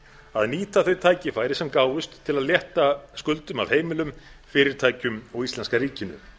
að nýta þau tækifæri sem gáfust til að létta skuldum af heimilum fyrirtækjum og íslenska ríkinu